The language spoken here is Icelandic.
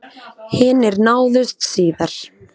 Hinir náðust síðar